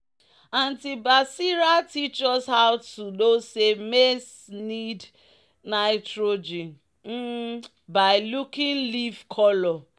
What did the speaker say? "auntie basira teach us how to know say maize need nitrogen um by looking leaf colour."